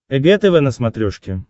эг тв на смотрешке